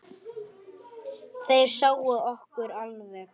Þeir sáu okkur alveg!